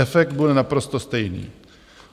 Efekt bude naprosto stejný.